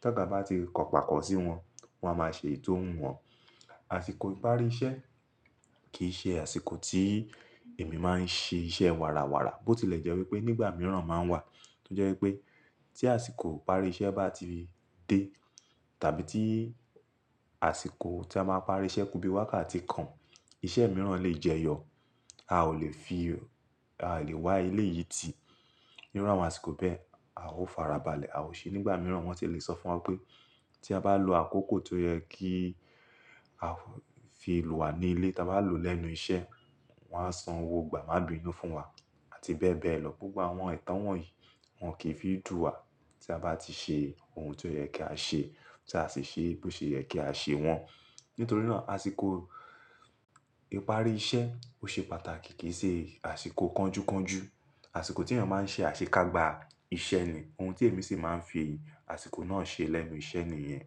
tí ọ̀gá bá ti kọ̀pákọ̀ sí wọn, wọ́n á máa ṣe èyi ti o hun wọn. Àsìkò ìparí iṣẹ́ kì í ṣe àsìkò tí èmi máa ń ṣe iṣẹ́ wàràwàrà bó tilẹ̀ jẹ́ wípé nígbà mìíràn máa ń wà tí ó jẹ́ wípé tí àsìkò ìparí iṣẹ́ bá ti dé tàbí tí àsìkò tí a máa parí iṣẹ́ ku bí i wákàtí kan, iṣẹ́ mìíràn lè jẹyọ. A ò lè fi, a lè wá eléyìí tì. Níru àwọn àsìkò bẹ́ẹ̀, a ó farabalẹ̀, a ó ṣe. Nígbà mìíràn wọ́n ti lè sọ fún wa pé tí a bá lo àkókò tó yẹ kí a fi lò wá ní ilé táa bá lò lẹ́nu iṣẹ́, wọ́n á san owó gbà máa binú fún wa àti bẹ́ẹ̀ bẹ́ẹ̀ lọ. Gbogbo àwọn ẹ̀tọ́ wọ̀n yìí wọn kì í fi dù wá tí a bá ti ṣe ohun tí ó yẹ kí á ṣe tí a sì ṣe bí ó ṣe yẹ kí á ṣe wọ́n. Nítorí náà àsìkò ìparí iṣẹ́ ó ṣe pàtàkì kì í ṣe àsìkò kánjúkánjú. Àsìkò tí ènìyàn máa ń ṣe àṣekágbá iṣẹ́ ni ohun tí èmi sì máa ń fi àsìkò náà ṣe lẹ́nu iṣẹ́ ni ìyẹn.